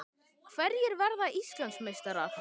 Hverjir verða Íslandsmeistarar?